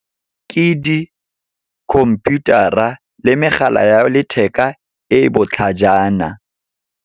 Ke di-computer-a le megala ya letheka e e botlhajana.